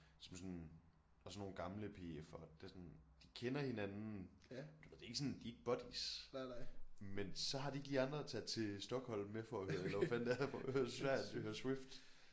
Som er sådan og så nogle gamle P F'er det er sådan de kender hinanden du ved det er ikke sådan de er ikke buddies men så har de ikke lige andre at tage til Stockholm med for at høre eller hvad fanden det er for at høre eller til Sverige for at høre Swift